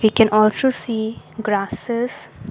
we can also see grasses.